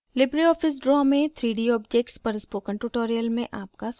Libre Office draw में 3d objects पर spoken tutorial में आपका स्वागत है